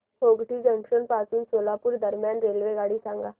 Hotgi junction पासून सोलापूर दरम्यान रेल्वेगाडी सांगा